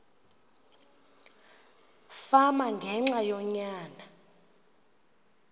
fama ngenxa yonyana